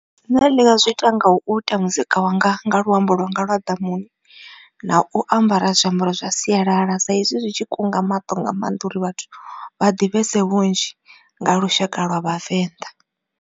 Nṋe ndi nga zwi ita nga u ita muzika wanga nga luambo lwanga lwa ḓamuni. Na u ambara zwiambaro zwa sialala sa izwi zwi tshi kunga maṱo nga maanḓa uri vhathu vha ḓivhese vhunzhi nga lushaka lwa vhavenḓa.